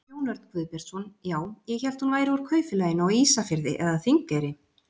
Jón Örn Guðbjartsson: Já, ég hélt hún væri úr Kaupfélaginu á Ísafirði eða Þingeyri?